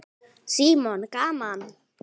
Símon: Gaman?